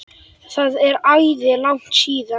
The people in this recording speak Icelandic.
Það er æði langt síðan.